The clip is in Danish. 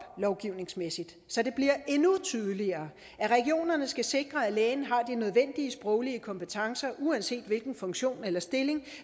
lovgivningsmæssigt så det bliver endnu tydeligere at regionerne skal sikre at lægen har de nødvendige sproglige kompetencer uanset hvilken funktion eller stilling